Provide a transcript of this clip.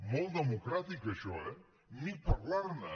molt democràtic això eh ni parlarne